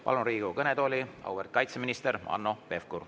Palun Riigikogu kõnetooli auväärt kaitseministri Hanno Pevkuri.